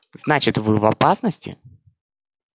значит вы в опасности